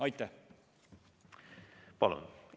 Aitäh!